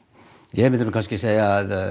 ég myndi segja að